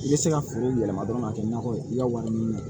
I bɛ se ka feere yɛlɛma dɔrɔn ka kɛ nakɔ ye i ka wari ɲini na